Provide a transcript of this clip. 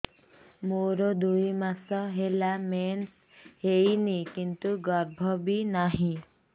ମୋର ଦୁଇ ମାସ ହେଲା ମେନ୍ସ ହେଇନି କିନ୍ତୁ ଗର୍ଭ ବି ନାହିଁ